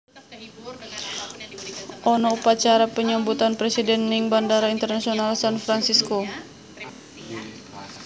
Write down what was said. Ono upacara penyambutan presiden ning Bandara Internasional San Fransisco